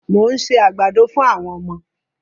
Mo ń se àgbàdo fún àwọm ọmọ.